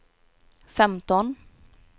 femton